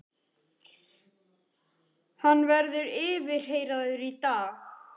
Hann verður yfirheyrður í dag